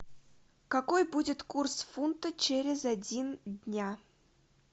какой будет курс фунта через один день